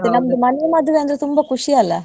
ನಮ್ದು ಮನೆ ಮದ್ವೆ ಅಂದ್ರೆ ತುಂಬಾ ಖುಷಿಯಲ್ಲ .